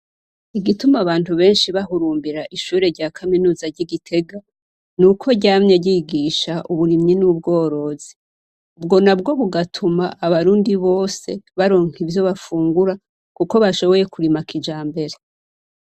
Igituma abantu benshi bahurumbira ishure rya kaminuza ry'igitega ni uko ryamye ryigisha uburimyi n'ubworozi ubwo na bwo kugatuma abarundi bose baronka ivyo bafungura, kuko bashoboye kurimakija mbere.